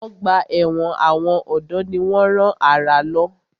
Ọgbà ẹ̀wọ̀n àwọn ọ̀dọ́ ni wọ́n rán àrà lọ.